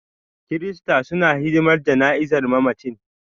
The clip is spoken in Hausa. Kirista suna hidimar jana'izar mamacin.